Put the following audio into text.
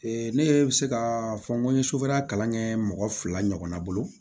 ne bɛ se ka fɔ n ko n ye sofɛrikɛ kalan kɛ mɔgɔ fila ɲɔgɔn bolo